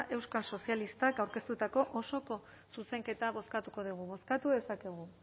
euskal sozialistak osoko zuzenketa bozkatuko dugu bozkatu dezakegu